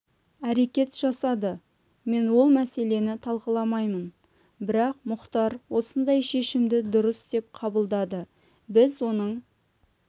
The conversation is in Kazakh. әрекет жасады мен ол мәселені талқыламаймын бірақ мұхтар осындай шешімді дұрыс деп қабылдады біз оның